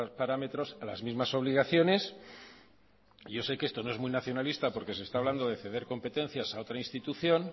parámetros a las mismas obligaciones yo sé que esto no es muy nacionalista porque se está hablando de ceder competencias a otra institución